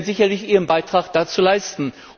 Sie werden sicherlich Ihren Beitrag dazu leisten.